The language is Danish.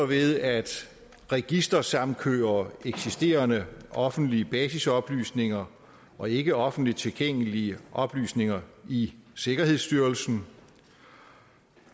ved at registersamkøre eksisterende offentlige basisoplysninger og ikke offentligt tilgængelige oplysninger i sikkerhedsstyrelsen